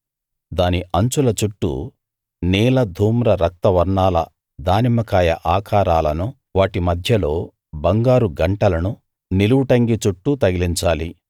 దాని అంచుల చుట్టూ నీల ధూమ్ర రక్త వర్ణాల దానిమ్మ కాయ ఆకారాలను వాటి మధ్యలో బంగారు గంటలను నిలువు టంగీ చుట్టూ తగిలించాలి